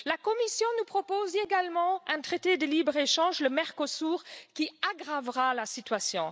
La Commission nous propose également un traité de libre échange, le Mercosur, qui aggravera la situation.